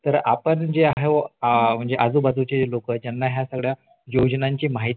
तर आपण जे आहेत आजू बाजूचे जे लोकयत त्यांना ह्या सगळ्या योजनांची माहिती आहे त्यांंना मग हा आपल्याकडूनच